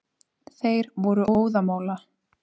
Þeir voru óðamála.